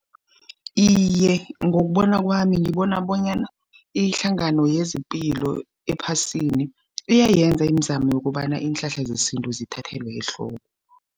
Iye, ngokubona kwami, ngibona bonyana ihlangano yezepilo ephasini, iyayenza imizamo yokobana iinhlahla zesintu zithathelwe ehloko.